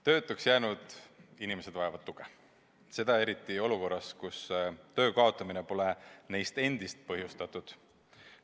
Töötuks jäänud inimesed vajavad tuge, seda eriti olukorras, kus töö kaotamine pole neist endist põhjustatud.